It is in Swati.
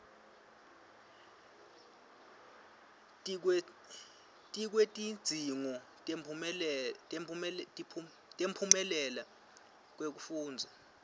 tikwetidzingo temphumela wekufundza